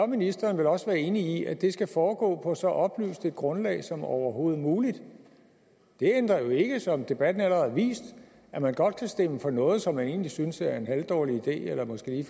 ministeren vel også være enig i at det skal foregå på så oplyst et grundlag som overhovedet muligt det ændrer jo ikke som debatten allerede har vist at man godt kan stemme for noget som man egentlig synes er en halvdårlig idé eller måske